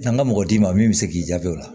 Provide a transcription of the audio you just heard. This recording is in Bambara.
An ka mɔgɔ d'i ma min bɛ se k'i jaabi o la